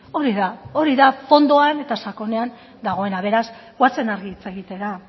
hori da hori da fondoan eta sakonean dagoena beraz goazen argi hitz egitera